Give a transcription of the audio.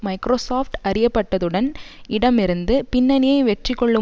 Microsoft அறியப்பட்டதுடன் இடம் இருந்து பின்னணியை வெற்றிகொள்ளும்